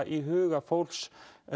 í huga fólks